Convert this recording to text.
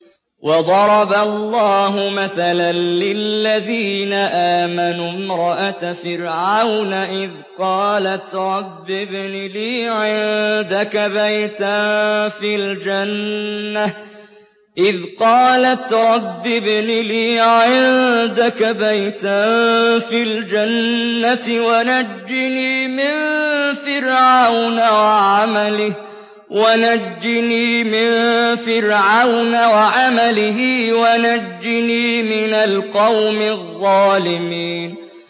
وَضَرَبَ اللَّهُ مَثَلًا لِّلَّذِينَ آمَنُوا امْرَأَتَ فِرْعَوْنَ إِذْ قَالَتْ رَبِّ ابْنِ لِي عِندَكَ بَيْتًا فِي الْجَنَّةِ وَنَجِّنِي مِن فِرْعَوْنَ وَعَمَلِهِ وَنَجِّنِي مِنَ الْقَوْمِ الظَّالِمِينَ